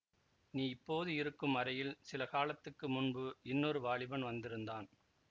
நீ இப்போது இருக்கும் அறையில் சில காலத்துக்கு முன்பு இன்னொரு வாலிபன் வந்திருந்தான்